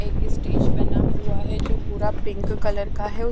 एक स्टेज बना हुआ है जो पूरा पिंक कलर का है --